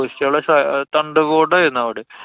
സ~ തണ്ടിന്‍ കൂട്ടായിരുന്നു അവടെ.